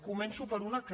començo per una que